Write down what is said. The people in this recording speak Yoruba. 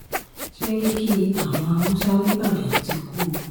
ṣẹ́ríkí àwọn haúsá ńíbàdàn ti kú o